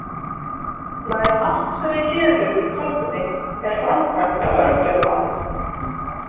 Nær allt sem við gerum í tölvunni er framkvæmt af örgjörvanum.